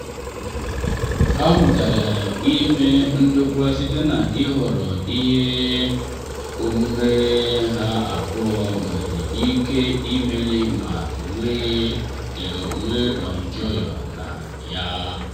ha mụtara ime ndokwa site n’ịhọrọ ihe omume ha abụọ nwere ike imeli ma nwee ọ enjoyụ na ya.